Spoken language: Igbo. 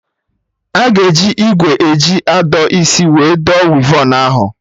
Aga eji ìgwè eji adọ isi wee dọ wivon ahụ